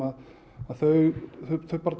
þau